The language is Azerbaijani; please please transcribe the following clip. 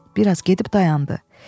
Bir az gedib dayandı.